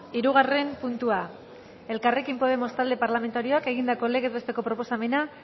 hirugarren puntua elkarrekin podemos talde parlamentarioak egindako legez besteko proposamena